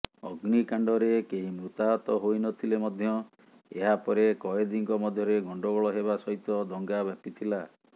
ଅଗ୍ନିକାଣ୍ଡରେ କେହି ମୃତାହତ ହୋଇନଥିଲେ ମଧ୍ୟ ଏହାପରେ କଏଦୀଙ୍କ ମଧ୍ୟରେ ଗଣ୍ଡଗୋଳ ହେବା ସହିତ ଦଙ୍ଗା ବ୍ୟାପିଥିଲା